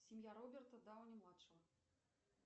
семья роберта дауни младшего